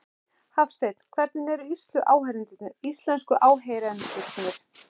Hafsteinn: Hvernig eru íslensku áheyrendurnir?